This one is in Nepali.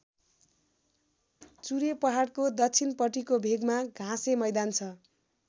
चुरे पहाडको दक्षिणपट्टिको भेकमा घाँसे मैदान छ।